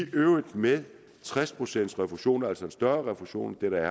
øvrigt med tres procent refusion altså en større refusion end der